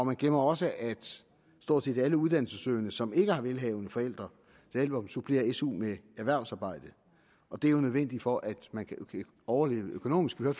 man glemmer også at stort set alle uddannelsessøgende som ikke har velhavende forældre supplerer su med erhvervsarbejde det er jo nødvendigt for at man kan overleve økonomisk vi